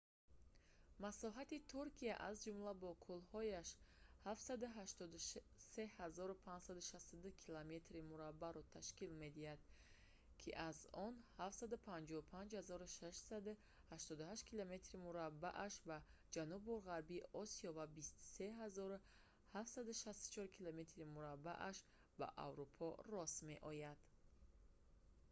масоҳати туркия аз ҷумла бо кӯлҳояш 783 562 километри мураббаъро ташкил медиҳад ки 300 948 мили мураббаъ аз он 755 688 километри мураббааш 291 773 мили мураббаъ ба ҷанубу ғарби осиё ва 23 764 километри мураббааш 9 174 мили мураббаъ ба аврупо рост меояд